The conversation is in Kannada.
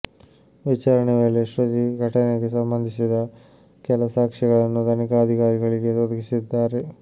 ವಿಚಾರಣೆ ವೇಳೆ ಶ್ರುತಿ ಘಟನೆಗೆ ಸಂಬಂಧಿಸಿದ ಕೆಲ ಸಾಕ್ಷ್ಯಗಳನ್ನು ತನಿಖಾಧಿಕಾರಿಗಳಿಗೆ ಒದಗಿಸಿದ್ದಾರೆ